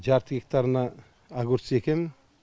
жарты гектарына огурцы егемін